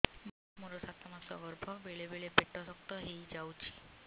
ମୋର ସାତ ମାସ ଗର୍ଭ ବେଳେ ବେଳେ ପେଟ ଶକ୍ତ ହେଇଯାଉଛି